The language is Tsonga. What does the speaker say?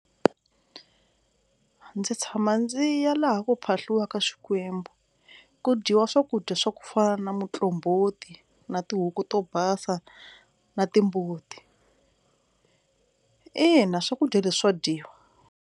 Ndzi tshama ndzi ya laha ku phahliwaka swikwembu, ku dyiwa swakudya swa ku fana na muqombhoti na tihuku to basa na timbuti, ina swakudya leswi swa dyiwa.